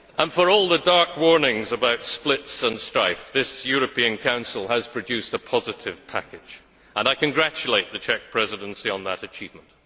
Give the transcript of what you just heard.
For all the dark warnings about splits and strife, this European Council has produced a positive package and I congratulate the Czech Presidency on that achievement.